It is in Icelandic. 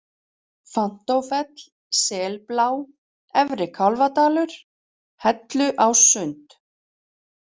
Fanntófell, Selblá, Efri-Kálfadalur, Helluássund